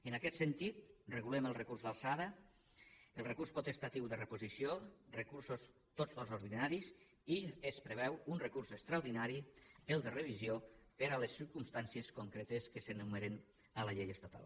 en aquest sentit regulem el recurs d’alçada el recurs potestatiu de reposició recursos tots dos ordinaris i es preveu un recurs extraordinari el de revisió per a les circumstàncies concretes que s’enumeren a la llei estatal